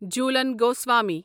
Jhulan Goswami